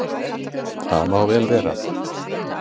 Það má vel vera.